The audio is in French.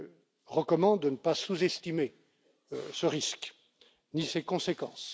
Je recommande de ne pas sous estimer ce risque, ni ses conséquences.